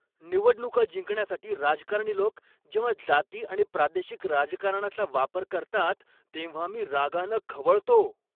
निवडणुका जिंकण्यासाठी राजकारणी लोक जेव्हा जाती आणि प्रादेशिक राजकारणाचा वापर करतात तेव्हा मी रागानं खवळतो.